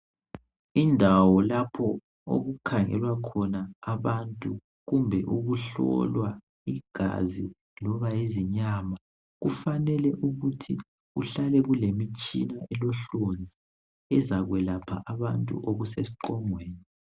Indawo lapho okukhangelwa khona abantu kumbe ukuhlolwa igazi loba yizinyama kufanele ukuthi kuhlale kulemitshina elohlonzi ezakwelapha abantu okusesiqongweni